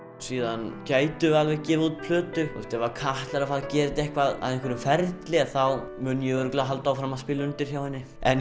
síðan gætum við alveg gefið út plötu ef Katla er að fara að gera þetta að einhverjum ferli þá mun ég örugglega halda áfram að spila undir hjá henni en